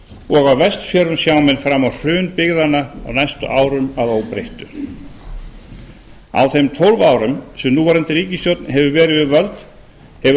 og á vestfjörðum sjá menn fram á hrun byggðanna á næstu árum að óbreyttu á þeim tólf árum sem núverandi ríkisstjórn hefur verið við völd hefur